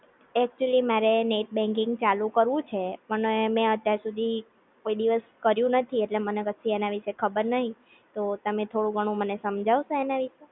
Actually મારે net banking ચાલુ કરવું છે, પણ એ મે અત્યાર સુધી કોઈ દિવસ કર્યું નથી, ઍટલે મને કશી એના વિશે ખબર નહિ તો થોડું ઘણું મને સમજાવશો એના વિશે?